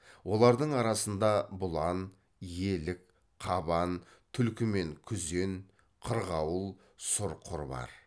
олардың арасында бұлан елік қабан түлкі мен күзен қырғауыл сұр құр бар